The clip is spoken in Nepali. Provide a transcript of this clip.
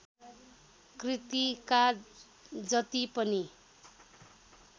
कृतिका जति पनि